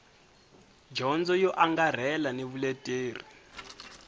dyondzo yo angarhela ni vuleteri